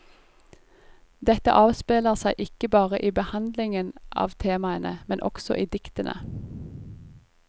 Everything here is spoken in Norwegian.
Dette avspeiler seg ikke bare i behandlingen av temaene, men også i diktene.